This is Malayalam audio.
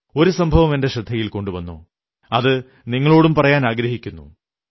ഒരു സംഭവം എന്റെ ശ്രദ്ധയിൽ കൊണ്ടുവന്നു അതു നിങ്ങളോടും പറയാനാഗ്രഹിക്കുന്നു